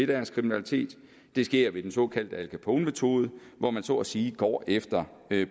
deres kriminalitet det sker ved den såkaldte al capone metode hvor man så at sige går efter